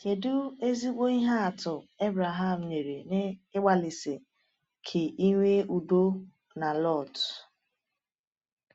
Kedu ezigbo ihe atụ Abraham nyere n’ịgbalịsi ike inwe udo na Lot?